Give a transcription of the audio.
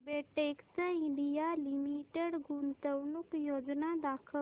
Betex India limited गुंतवणूक योजना दाखव